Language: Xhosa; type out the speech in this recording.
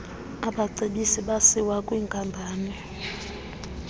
abacebisi basiwa kwwinkampani